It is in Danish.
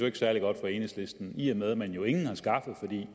særlig godt for enhedslisten i og med at man jo ingen